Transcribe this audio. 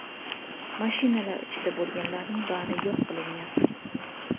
Mashinalar ichida bo‘lganlarning bari yo‘q qilingan.